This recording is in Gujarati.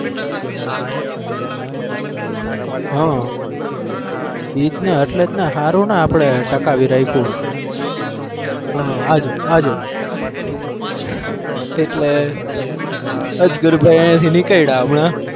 હા એજ ને એટલે જ ને હારું ને આપણે ટકાવી રાખ્યું હમ આ જો આ જો એટલે અજગરભાઈ અહીંયાથી નીકળ્યા હમણાં.